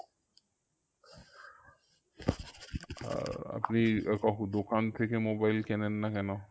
আর আপনি আহ কখন দোকান থেকে mobile কেনেন না কেন?